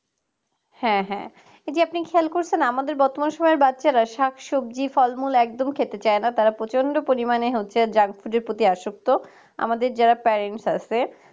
হ্যাঁ হ্যাঁ, এটি আপনি খেয়াল করেছেন আমাদের বর্তমান সময়ের বাচ্চারা শাকসবজি ফল একদম খেতে চায় না তারা প্রচন্ড পরিমাণে হচ্ছে junk food প্রতি আসক্ত আমাদের যারা parents আছে